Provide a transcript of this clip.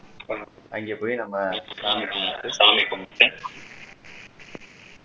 அங்க போயிட்டு நம்ம சாமி கும்புட்டு கைய கும்புட்டு